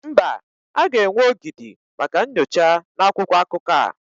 Mba, a ga-enwe ogidi maka nyocha na akwụkwọ akụkọ a.